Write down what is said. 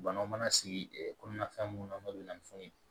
Banaw mana sigi kɔnɔna fɛn mun na n'o bɛ na ni fɛnw ye